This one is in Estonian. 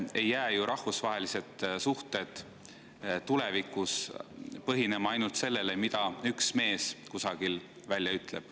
Ei jää ju rahvusvahelised suhted tulevikus põhinema ainult sellel, mida üks mees kusagil välja ütleb.